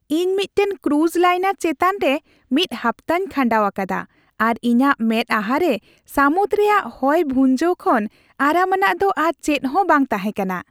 ᱤᱧ ᱢᱤᱫᱴᱟᱝ cruise liner ᱪᱮᱛᱟᱱᱨᱮ ᱢᱤᱫ ᱦᱟᱯᱛᱟᱧ ᱠᱷᱟᱸᱰᱟᱣ ᱟᱠᱟᱫᱟ, ᱟᱨ ᱤᱧᱟᱹᱜ ᱢᱮᱫᱼᱟᱦᱟᱨᱮ ᱥᱟᱹᱢᱩᱫ ᱨᱮᱭᱟᱜ ᱦᱚᱭ ᱵᱷᱩᱡᱟᱹᱣ ᱠᱷᱚᱱ ᱟᱨᱟᱢᱟᱱᱟᱜ ᱫᱚ ᱟᱨ ᱪᱮᱫ ᱦᱚᱸ ᱵᱟᱝ ᱛᱟᱦᱮᱸ ᱠᱟᱱᱟ ᱾